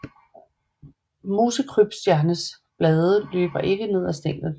Mosekrybstjernes blade løber ikke ned ad stænglen